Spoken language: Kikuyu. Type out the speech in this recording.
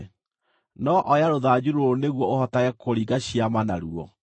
No oya rũthanju rũrũ nĩguo ũhotage kũringa ciama naruo.”